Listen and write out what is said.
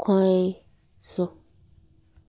kwan so.